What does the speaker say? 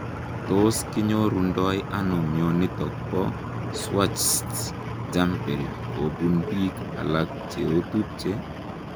Tos kinyorundoi anoo mionitok poo Schwartz jampel kobuun piik alak cheotupchee?